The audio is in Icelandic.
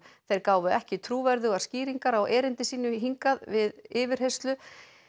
þeir gáfu ekki trúverðugar skýringar á erindi sínu hingað við yfirheyrslu